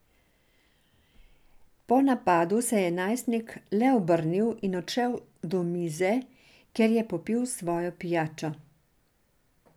Po napadu se je najstnik le obrnil in odšel do mize, kjer je popil svojo pijačo.